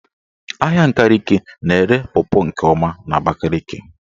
Ahịa Nkaliki na-ere pọpọ nke ọma n''Abakaliki.